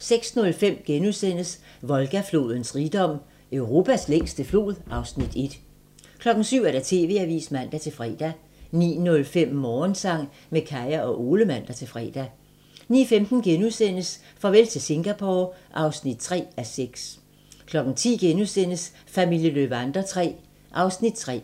06:05: Volga-flodens rigdom: Europas længste flod (Afs. 1)* 07:00: TV-avisen (man-fre) 09:05: Morgensang med Kaya og Ole (man-fre) 09:15: Farvel til Singapore (3:6)* 10:00: Familien Löwander III (3:8)*